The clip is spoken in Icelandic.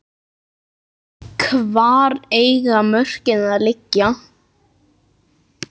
Hvar eiga mörkin að liggja?